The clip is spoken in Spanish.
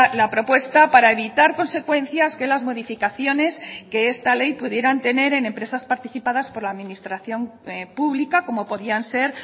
la propuesta para evitar consecuencias que las modificaciones que esta ley pudieran tener en empresas participadas por la administración pública como podían ser